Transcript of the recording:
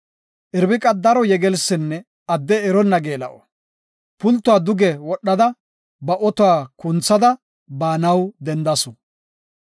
Irbiqii daro yegelsinne adde eronna geela7o. Pultuwa duge wodhada, ba otuwa kunthada baanaw dendasu.